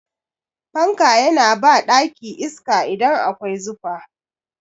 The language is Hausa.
Fanka yana ba ɗaki iska idan akwai zufa.